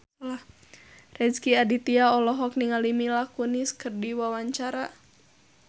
Rezky Aditya olohok ningali Mila Kunis keur diwawancara